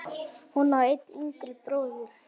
Hún á einn yngri bróður.